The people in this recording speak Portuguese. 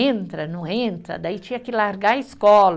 Entra, não entra, daí tinha que largar a escola.